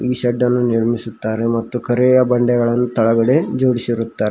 ಈ ಶೆಡ್ಡನ್ನು ನಿರ್ಮಿಸಿರುತ್ತಾರೆ ಮತ್ತು ಕರೆಯ ಬಂಡೆಗಳನ್ನು ತಳಗಡೆ ಜೋಡಿಸಿರುತ್ತಾರೆ.